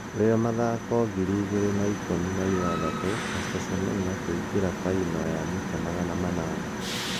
Rio mathako ngiri igĩrĩ na ikũmi na ithathatu:Caster Semenya kũingĩra finari ya mita magana anana